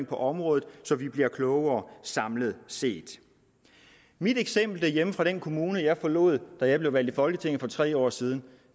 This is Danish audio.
på området så vi bliver klogere samlet set mit eksempel derhjemmefra fra den kommune jeg forlod da jeg blev valgt til folketinget for tre år siden